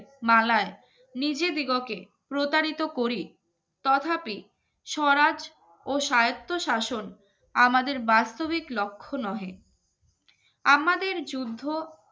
মালাই নিজে দিগকে প্রতারিত করি তথাপি স্বরাজ ও স্বায়ত্তশাসন আমাদের বাস্তবিক লক্ষণহে আমাদের যুদ্ধ